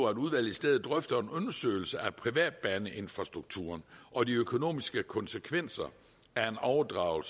at udvalget i stedet drøfter en undersøgelse af privatbaneinfrastrukturen og de økonomiske konsekvenser af at overdrage